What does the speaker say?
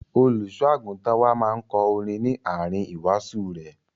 Olùṣọ́-àgùntàn wá máa ń kọ orin ní àárín ìwàásù rẹ̀.